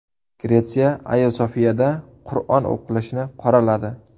Gretsiya Ayo Sofiyada Qur’on o‘qilishini qoraladi.